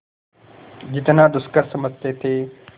जितना दुष्कर समझते थे